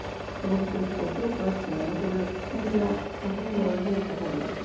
Þórhildur: Og þrjú börn sem einmitt voru bara hreinlega orðin veik af ferðalaginu?